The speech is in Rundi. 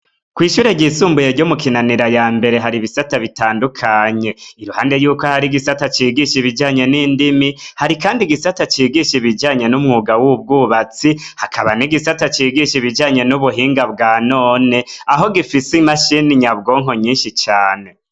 Kwishure ryisumbuye ryo mu Kinanira yambere, haribisata bitandukanye, iruhande y’uko har’igisata cigisha Ibijanye n’indimi, hari kandi gisata cigisha Umenga w’ubwubatsi hakaba n’ikindi gisata cigisha ibijanye n’ubuhinga bwa none aho gifise imashini nyabwonko nyinshi cane.